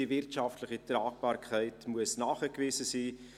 Die wirtschaftliche Tragbarkeit muss nachgewiesen sein.